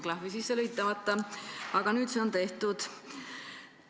– klahvi sisse lülitamata, aga nüüd on see tehtud.